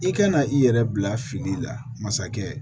I kana i yɛrɛ bila fili la masakɛ